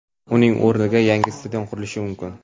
uning o‘rnida yangi stadion qurishi mumkin.